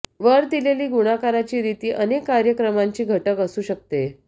वर दिलेली गुणाकाराची रीती अनेक कार्यकमांची घटक असू शकते